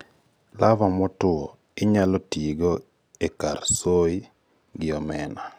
larvae motwo inyalo tiigo e kar soy gi omena/fishmeal e chiemb le